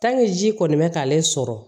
ji kɔni bɛ k'ale sɔrɔ